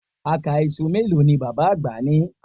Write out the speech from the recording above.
Àká iṣu mélòó ni bàbá àgbà ni